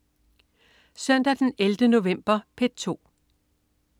Søndag den 11. november - P2: